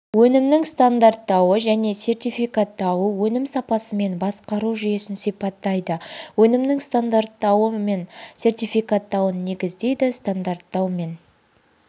өнімнің стандарттауы және сертификаттауы өнім сапасымен басқару жүйесін сипаттайды өнімнің стандарттауы мен сертификаттауын негіздейді стандарттау мен